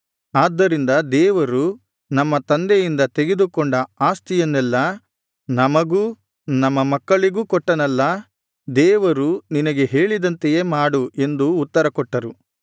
ಆದ್ದರಿಂದ ದೇವರು ನಮ್ಮ ತಂದೆಯಿಂದ ತೆಗೆದುಕೊಂಡ ಆಸ್ತಿಯನ್ನೆಲ್ಲಾ ನಮಗೂ ನಮ್ಮ ಮಕ್ಕಳಿಗೂ ಕೊಟ್ಟನಲ್ಲಾ ದೇವರು ನಿನಗೆ ಹೇಳಿದಂತೆಯೇ ಮಾಡು ಎಂದು ಉತ್ತರ ಕೊಟ್ಟರು